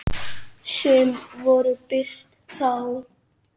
Sum voru birt þá.